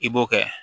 I b'o kɛ